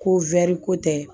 Ko ko tɛ